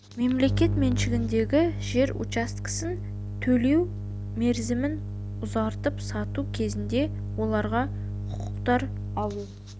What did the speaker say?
мемлекет меншігіндегі жер учаскелерін төлеу мерзімін ұзартып сату кезінде оларға құқықтар алу